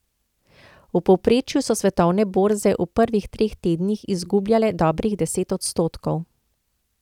V povprečju so svetovne borze v prvih treh tednih izgubljale dobrih deset odstotkov.